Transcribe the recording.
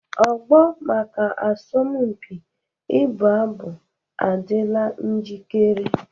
Ogbo maka asọmpi ịbụ abụ adịla njikere